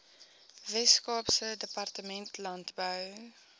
weskaapse departement landbou